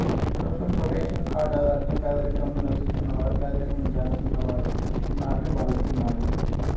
social protection card ఆధారంగా పేదరింకంలో నివసిస్తున్నవారు పేదరికంలో జారుతున్న వారూ ఉన్నారని భావిస్తున్నారు